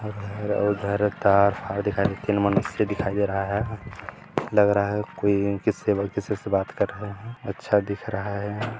इधर-उधर तार फार दिखाई दे रहा तीन मनुष्य दिखाई दे रहा है लग रहा है कोई इनके सेवक किसी से बात क्र रहे है अच्छा दिख रहा है।